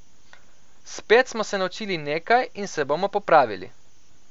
Spet smo se naučili nekaj in se bomo popravili.